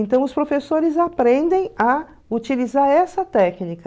Então, os professores aprendem a utilizar essa técnica.